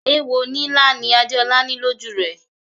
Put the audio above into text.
Èwo nílá ni Adéolá ní lọ́jú rẹ̀.